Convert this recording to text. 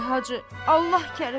Ay Hacı, Allah kərimdir.